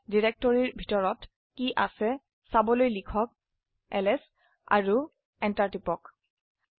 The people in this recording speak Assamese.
টেস্ট ডিৰেক্টৰিৰ ভিতৰত কী আছে চাবলৈ লিখক এলএছ আৰু এন্টাৰ টিপক